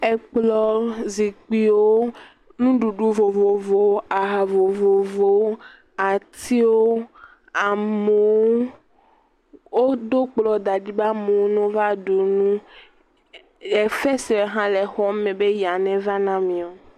Ekplɔ̃wo, zikpuiwo, nuɖuɖu vovovowo, aha vovovowo, atiwo, amoo, oɖo kplɔ̃ da ɖi be amoo nova ɖu nu, efesrɛ hã le xɔ me be ya neva na amiɔ.